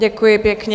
Děkuji pěkně.